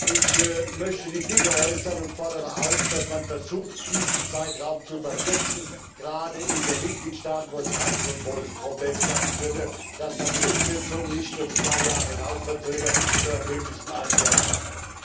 Ich möchte die Bitte äußern und fordere dazu auf, dass man versucht, diesen Zeitraum zu verkürzen, gerade in den Mitgliedstaaten, wo dies kein so großes Problem schaffen würde, indem man die Umsetzung nicht auf zwei Jahre hinauszögert, sondern möglichst in einem Jahr schafft.